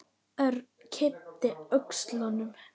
Örn yppti öxlum.